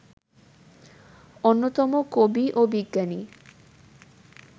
অন্যতম কবি ও বিজ্ঞানী